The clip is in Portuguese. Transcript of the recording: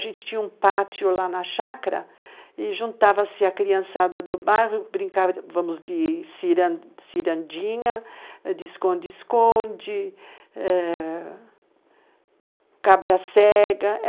A gente tinha um pátio lá na chácara e juntava-se a criançada do bairro e brincávamos de cirandinha, de esconde-esconde, cabra-cega.